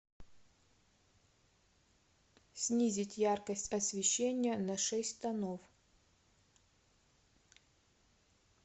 снизить яркость освещения на шесть тонов